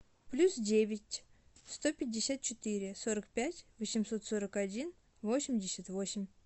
плюс девять сто пятьдесят четыре сорок пять восемьсот сорок один восемьдесят восемь